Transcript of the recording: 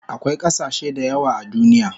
Akwai kasashe dayawa a duniya